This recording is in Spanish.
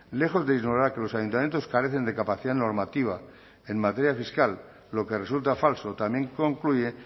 lejos de ignorar que los ayuntamientos carecen de capacidad normativa en materia fiscal lo que resulta falso también concluye